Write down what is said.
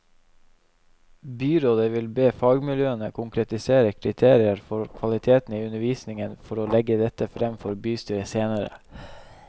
Byrådet vil be fagmiljøene konkretisere kriterier for kvaliteten i undervisningen for å legge dette frem for bystyret senere.